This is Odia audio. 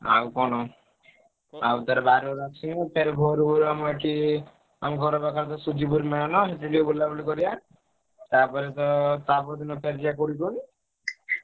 ଆଉ କଣ ଆଉ ବାରୁଅ ରୁ ଆସିବୁ ଫେରେ ଭୋରୁ ଭୋରୁ ଆମ ଏଠି ଆଉ ଆମ ଘର ପାଖରେ ଯୋଉ ସୁଜିପୁର ମେଳଣ ସେଠି ଟିକେ ବୁଲାବୁଲି କରିଆ। ତାପରେ ତ ତା ପରଦିନ ଫେରେ ଯିବା କୋଉଠିକି କୁହନି।